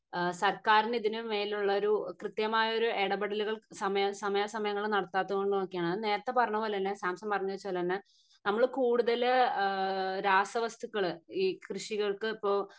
അഹ് സർക്കാരിന് ഇതിന് മേലുള്ളൊരു കൃത്യമായ ഒരു ഇടപെടലുകൾ സമയ സമയാ സമയങ്ങൾ നടത്താത്തത് കൊണ്ടക്കൊക്കെയാണ് നേരത്തെ പറഞ്ഞ പോലെ തന്നെ സാംസൺ പറഞ്ഞ് വെച്ച പോലെ തന്നെ നമ്മൾ കൂടുതൽ ഏഹ് രാസവസ്തുക്കൾ ഈ കൃഷികൾക്ക് ഇപ്പൊ